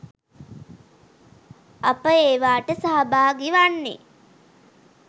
අප ඒවාට සහභාගී වන්නෙ